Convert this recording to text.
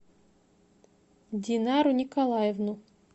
динару николаевну